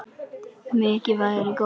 Mikið værirðu góður.